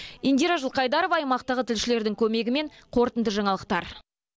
индира жылқайдарова аймақтағы тілшілердің көмегімен қорытынды жаңалықтар